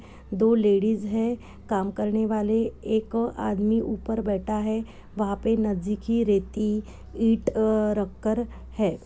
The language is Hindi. दो लेडीज है काम करने वाले एक आदमी ऊपर बैठा है वहाँ पे नज़दीकी रेती ईट अ रख कर है।